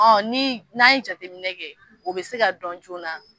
Ɔn ni n'an ye jateminɛ kɛ o be se ka dɔn joona.